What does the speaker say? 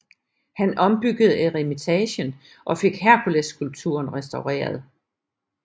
Han ombyggede eremitagen og fik Herkulesskulpturen restaureret